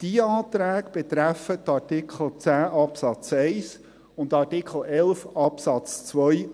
Diese Anträge betreffen die Artikel 10 Absatz 1 und Artikel 11 Absatz 2